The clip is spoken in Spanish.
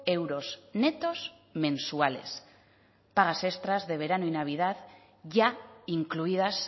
euros netos mensuales pagas extras de verano y navidad ya incluidas